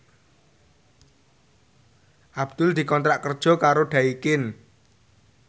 Abdul dikontrak kerja karo Daikin